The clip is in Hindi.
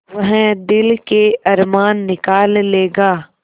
वह दिल के अरमान निकाल लेगा